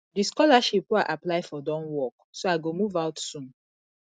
the scholarship wey i apply for don work so i go move out soon